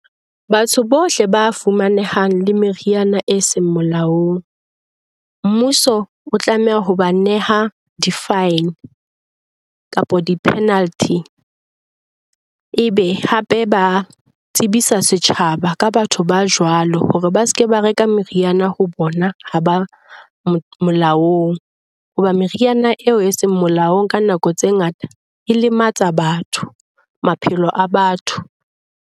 Batho bohle ba fumanehang le meriana e seng molaong, mmuso o tlameha ho ba neha di-fine kapa di-penalty. Ebe hape ba tsebisa setjhaba ka batho ba jwalo hore ba se ke ba reka meriana ho bona ha ba molaong. Hoba meriana e seng molaong ka nako tse ngata e lematsa batho, maphelo a batho.